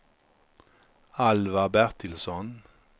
Alvar Bertilsson